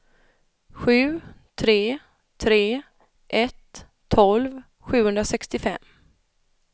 sju tre tre ett tolv sjuhundrasextiofem